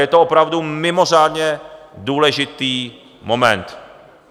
Je to opravdu mimořádně důležitý moment.